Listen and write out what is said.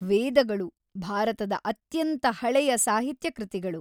ವೇದಗಳು ಭಾರತದ ಅತ್ಯಂತ ಹಳೆಯ ಸಾಹಿತ್ಯ ಕೃತಿಗಳು.